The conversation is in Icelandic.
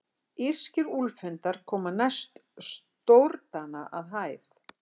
Írskir úlfhundar koma næst stórdana að hæð.